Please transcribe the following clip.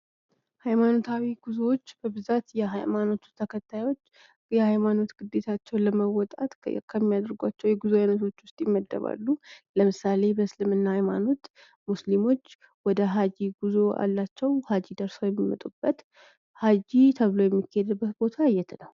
ሀይማኖታዊ ጉዞዎች በብዛት የሀይማኖቱ ተከታዮች የሀይማኖት ግዴታዎቻቸውን ለመወጣት ከሚያደርጉት ጉዞ መካከል ይመደባል። ለምሳሌ በስልምና ሃይማኖት ሙስሊሞች ወደ ሀጂ ጉዞ አላቸው። ሀጂ ደርሰው የሚመጡበት። ሀጂ ተብሎ የሚሄድበት ቦታ የት ነው?